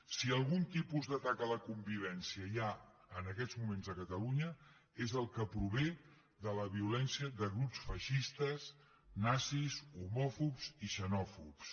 si algun tipus d’atac a la convivència hi ha en aquests moments a catalunya és el que prové de la violència de grups feixistes nazis homòfobs i xenòfobs